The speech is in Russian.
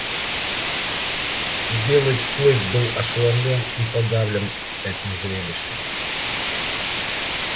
белый клык был ошеломлён и подавлен этим зрелищем